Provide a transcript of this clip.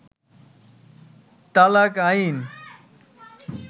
তালাক আইন